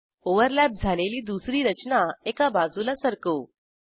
overlap झालेली दुसरी रचना एका बाजूला सरकवू